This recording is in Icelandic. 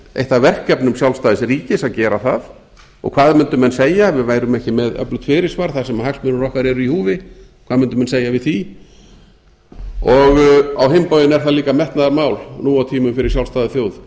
af verkefnum sjálfstæðs ríkis að gera það og hvað mundu menn segja ef við værum ekki með öflugt fyrirsvar þar sem hagsmunir okkar eru í húfi hvað mundu menn segja við því á hinn bóginn er það líka metnaðarmál nú á tímum fyrir sjálfstæða þjóð